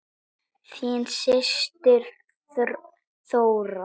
Þín systir Þóra.